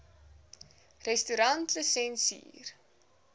restaurantlisensier